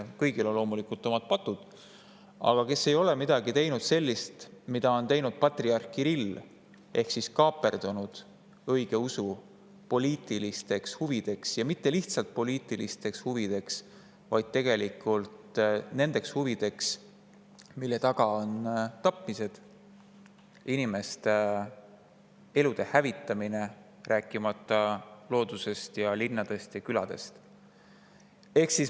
Kõigil on loomulikult omad patud, aga kes ei ole teinud midagi sellist, mida on teinud patriarh Kirill ehk kaaperdanud õigeusu poliitilistes huvides, ja mitte lihtsalt poliitilistes huvides, vaid tegelikult huvides, mille tapmist, inimeste elude hävitamist, rääkimata loodusest ja linnadest ja küladest.